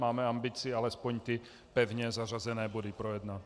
Máme ambici alespoň ty pevně zařazené body projednat.